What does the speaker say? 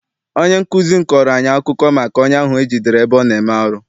Onye nkụzi m kọọrọ anyị akụkọ maka onye ahụ e jidere ebe ọ na-eme arụ.